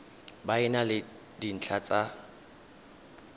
e na le dintlha tsa